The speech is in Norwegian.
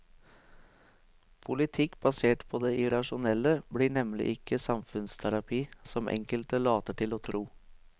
Politikk basert på det irrasjonelle blir nemlig ikke samfunnsterapi, som enkelte later til å tro.